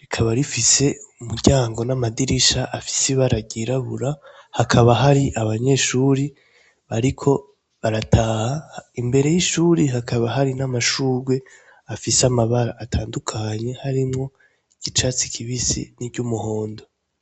rikaba rifise umuryango namadirisha afise ibara ryirabura hakaba hari abanyeshure bariko barataha mbere y'ishure hakaba hari amashurwe afise amabara atandukanye harimwo icatsi kibisi niry umuhondo.